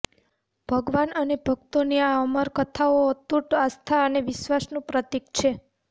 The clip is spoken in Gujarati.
ભગવાન અને ભક્તો ની આ અમર કથાઓ અતૂટ આસ્થા અને વિશ્વાસ નું પ્રતીક છે